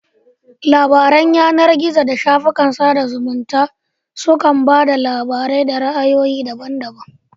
Labaran yanar gizo da shafukan sada zumunta su kan ba da labarai da ra'ayoyi daban daban.